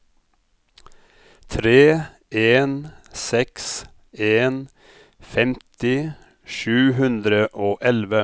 tre en seks en femti sju hundre og elleve